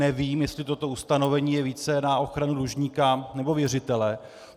Nevím, jestli toto ustanovení je více na ochranu dlužníka, nebo věřitele.